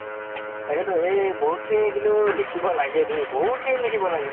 তাকেতো এই বহুত খিনি কিন্তু লিখিব লাগে দেই, বহুত খিনি লিখিব লাগে।